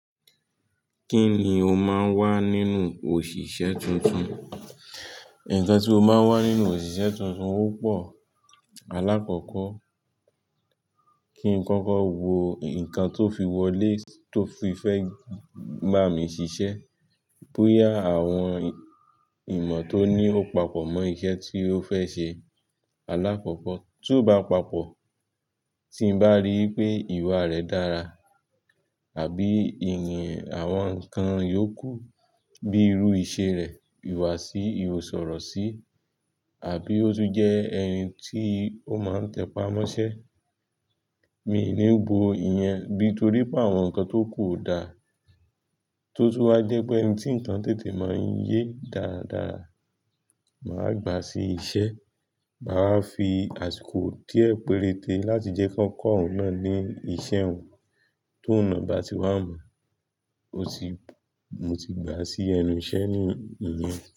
Kíni o máa ń wá nínú òṣìṣẹ́ tuntun? Nnkan tí mo máa n wá nínú òṣìṣẹ́ tuntun ọ́pọ̀. Alákọ̀kọ̀ kí n koko wo nǹkan tó fi wọlé tó fi fẹ́ bà mí ṣiṣẹ́ bóyá àwọn ìmọ̀ tó ní ó papọ̀ mọ́ iṣẹ́ tí ó fẹ́ ṣe. Alákọ̀kọ̀ tió bá papọ̀ tí n bá rí wipé ìwà rẹ̀ dára àbí ìyìn àwọn nǹkan iyóò kù bíi irú ìṣe rẹ̀, ìwà sí i, ìwọ̀sọ̀rọ̀ sí i àbí ó tún jẹ́ ẹni tí ó máa ń tẹpá mọ́ṣẹ́. Mi i ní gbó iyen, bi torí pé àwọn nǹkan tó ku ò dá tó tún wá jẹ́ pé ẹni tí nǹkan tètè máa ń yé dáradára. Màá gbà sí iṣẹ́, màá fi àsìkò díẹ̀ péréte láti jẹ́ kí wọ́n kọ́ ọ̀ún náà ní iṣẹ́ un. Ti oun nà bá ti wá mo, mo ti gbà sí ẹnu iṣẹ́ ní ìyẹn.